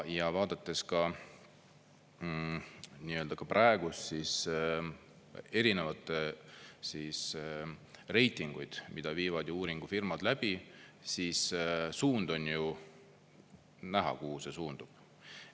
Ja vaadates ka nii-öelda ka praegust, siis erinevaid reitinguid, mida viivad ju uuringufirmad läbi, siis suund on ju näha, kuhu see suundub.